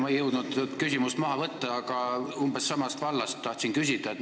Ma ei jõudnud küsimust maha võtta, see oli umbes samast vallast.